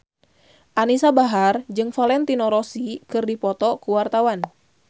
Anisa Bahar jeung Valentino Rossi keur dipoto ku wartawan